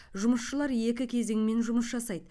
жұмысшылар екі кезеңмен жұмыс жасайды